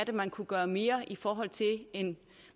man kunne gøre mere i forhold til en